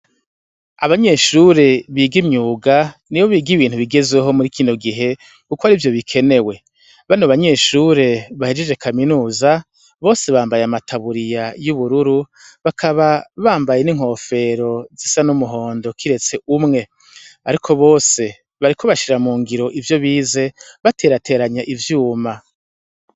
Abanyeshure biga imyuga nibo biga ibintu bigezweho muri kino gihe kuko arivyo bikenewe. Bano banyeshure bahejeje kaminuza bose bambaye amataburiya y'ubururu bakaba bambaye n'inkofero zisa n'umuhondo kiretse umwe. Ariko bose bariko bashira mu ngiro ivyo bize baterateranya ivyuma.